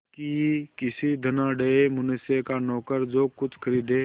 कि किसी धनाढ़य मनुष्य का नौकर जो कुछ खरीदे